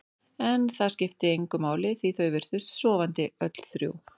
En það skipti engu máli því þau virtust sofandi, öll þrjú.